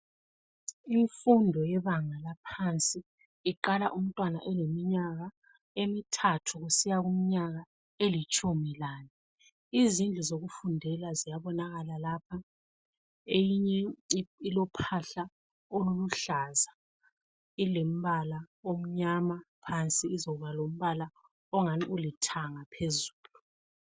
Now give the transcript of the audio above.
Imfundo yebanga laphansi iqala umntwana eleminyaka emithathu kusiya kuminyaka elitshumi lane. Izindlu zokufundela ziyabonakala lapha, eyinye ilophahla oluluhlaza ilombala omnyama phansi izoba lombala ongani ulithanga phezulu.